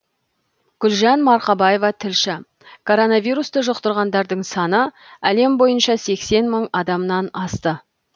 гүлжан марқабаева тілші коронавирусты жұқтырғандардың саны әлем бойынша сексен мың адамнан асты